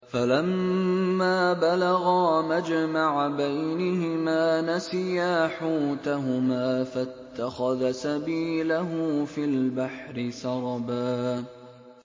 فَلَمَّا بَلَغَا مَجْمَعَ بَيْنِهِمَا نَسِيَا حُوتَهُمَا فَاتَّخَذَ سَبِيلَهُ فِي الْبَحْرِ سَرَبًا